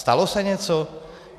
Stalo se něco?